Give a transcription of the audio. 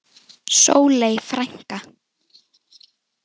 Sóley frænka.